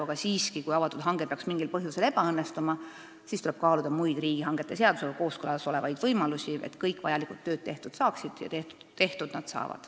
Aga siiski, kui avatud hange peaks mingil põhjusel ebaõnnestuma, tuleb kaaluda muid riigihangete seadusega kooskõlas olevaid võimalusi, et kõik vajalikud tööd saaksid tehtud.